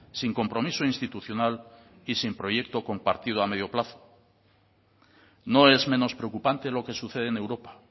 sin compromiso institucional y sin proyecto compartido a medio plazo no es menos preocupante lo que sucede en europa